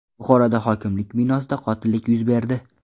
Buxoroda hokimlik binosida qotillik yuz berdi.